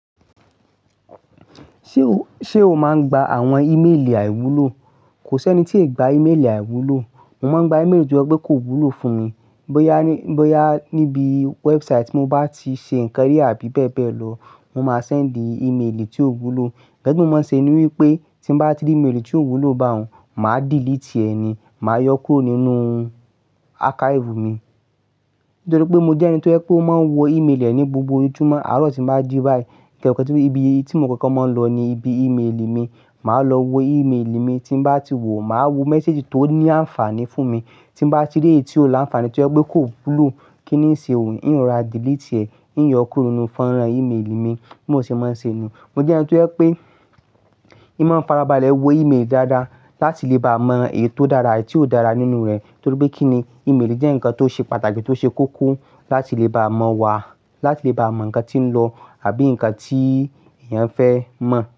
Ṣé o, ṣe o máa ń gba àwọn ìméèlì àìwúlò? Kò sí ẹni tí ì gba ìméèlì àìwúlò. Mo máa ń gba ìméèlì tí ó jẹ́ pé kò wúlò fún mi. Boyá, bóyá níbi website tí mo bá ti ṣe nnkan ri àbí bẹ́ẹ̀ bẹ́ẹ̀ lọ, won máa send ìméèlì tí ó wúlò. Ǹnkan ti mo máa ṣe ni wípé tí bá ti rí ìméèlì tí ò wúlò bá òun, màá delete ẹ ni, màá yọ kúrò nínú archive mi. Nítorí pé mo jẹ́ ẹni tó jẹ pe oó máa ń wo ìméèlì eẹ ni gbogbo ojùmọ̀, àárọ̀ tí mo bá jì báyìí, nnkan eyo kan tí ibi tí mo kokọ̀ọ́ máa ń lọ ni ibi ìméèlì mi. Màá lọ wo ìméèlì mi, tí mo bá ti wò, màá wo message tó ní ànfààní fún mi. Tí mo bá ti ri èyí tí ò ni ànfààní tí ó jẹ́ pé kò wúlò, kí ni ń ṣe òun? Í òun ra delete ẹ, í yọ kúrò nínú fọ́nrán ìméèlì mi. Bí mo ṣe máa ń ṣe ni. Mo jẹ́ ẹni tó jẹ pé ì máa ń farabalẹ̀ wo ìméèlì dáadáa láti lè bá mọ èyí tó dára àti èyí tí ò dára nínú rẹ̀. Nítorí pé kí ni ìméèlì jẹ́ ǹkan tó ṣe pàtàkì tó ṣe koko láti lè bá mọ̀ wà, láti lè bá mọ ǹkan tí ń lọ àbí ǹkan tí èèyàn fẹ́ mọ̀